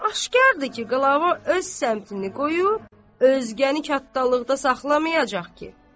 Aşkardır ki, Qlava öz səmtini qoyub, özgəni katdalıqda saxlamayacaq ki.